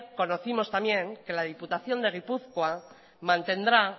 conocimos también que la diputación de gipuzkoa mantendrá